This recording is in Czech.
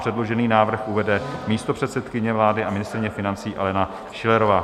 Předložený návrh uvede místopředsedkyně vlády a ministryně financí Alena Schillerová.